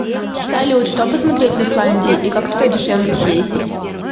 салют что посмотреть в исландии и как туда дешевле съездить